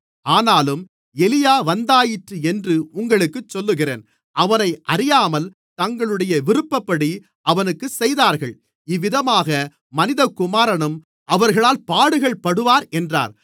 ஆனாலும் எலியா வந்தாயிற்று என்று உங்களுக்குச் சொல்லுகிறேன் அவனை அறியாமல் தங்களுடைய விருப்பப்படி அவனுக்குச் செய்தார்கள் இவ்விதமாக மனிதகுமாரனும் அவர்களால் பாடுகள்படுவார் என்றார்